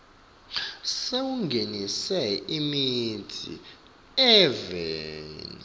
sekungenisa imitsi eveni